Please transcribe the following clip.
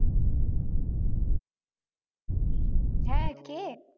হ্যাঁ কে?